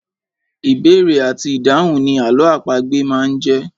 Ìbéèrè àti ìdáhùn ni àlọ́ àpagbè máa ń jẹ́.